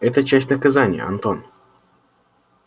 это часть наказания антон